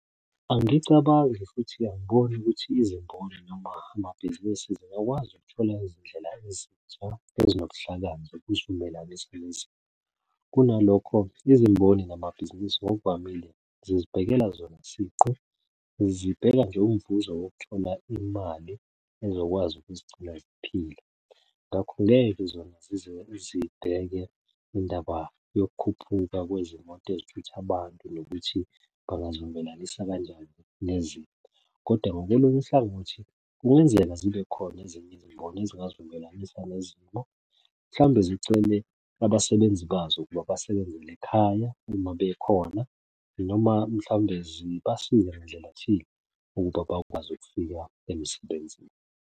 Angicabangi futhi angiboni ukuthi izimboni noma amabhizinisi zingakwazi ukuthola izindlela ezintsha ezinobuhlakani zokuzivumelanisa nezimo. Kunalokho izimboni namabhizinisi ngokuvamile zizibhekela zona siqu. Zibheka nje umvuzo wokuthola imali ezokwazi ukuzigcina ziphila. Ngakho ngeke zona zize zibheke indaba yokukhuphuka kwezimoto ezithutha abantu nokuthi bangazivumelisa kanjani nezimo, koda ngakolunye uhlangothi kungenzeka zibe khona ezinye izimboni zokuzivumelanisa nezimo mhlawmbe zicele abasebenzi bazo ukuba basebenzele ekhaya uma bekhona noma mhlawumbe zibasize ngandlela thile ukuba bakwazi ukufika emsebenzini.